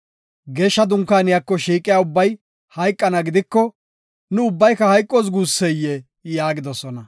Geeshsha dunkaaniyako shiiqiya ubbay hayqana gidiko, nu ubbayka hayqoos guusseyee?” yaagidosona.